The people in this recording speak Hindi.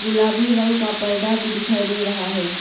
गुलाबी रंग का पर्दा भी दिखाई दे रहा है।